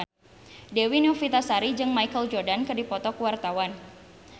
Dewi Novitasari jeung Michael Jordan keur dipoto ku wartawan